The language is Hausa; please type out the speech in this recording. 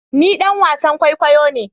Ni ɗan wasan kwaikwayo ne